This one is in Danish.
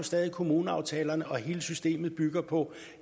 stadig kommuneaftalerne og hele systemet bygger på